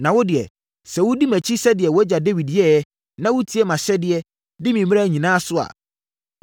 “Na wo deɛ, sɛ wodi mʼakyi sɛdeɛ wʼagya Dawid yɛeɛ, na wotie mʼahyɛdeɛ, di me mmara nyinaa so a,